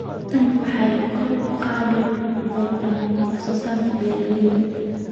Tani waxay kor u qaadi doontaa wax soo saarka beeralayda.